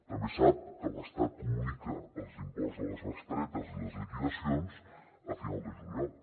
també sap que l’estat comunica els imports de les bestretes i les liquidacions a final de juliol